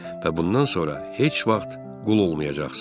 Və bundan sonra heç vaxt qul olmayacaqsan."